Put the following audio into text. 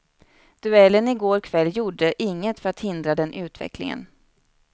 Duellen i går kväll gjorde inget för att hindra den utvecklingen.